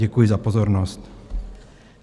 Děkuji za pozornost.